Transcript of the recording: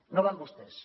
no va amb vostès